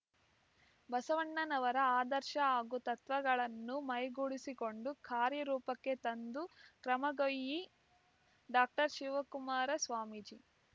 ಬಸವಣ್ಣನವರ ಆದರ್ಶ ಹಾಗೂ ತತ್ವಗಳನ್ನು ಮೈಗೂಡಿಸಿಕೊಂಡು ಕಾರ್ಯರೂಪಕ್ಕೆ ತಂದ ಕರ್ಮಗೋಯಿ ಡಾಕ್ಟರ್ ಶಿವಕುಮಾರ ಸ್ವಾಮೀಜಿ